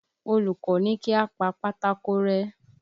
Olùkọ́ ní kí a pa pátákó rẹ́